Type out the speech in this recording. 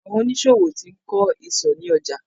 Àwọn oníṣòwò ti ń kọ́ ìsò ni ọjà